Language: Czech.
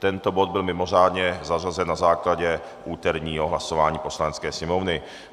Tento bod byl mimořádně zařazen na základě úterního hlasování Poslanecké sněmovny.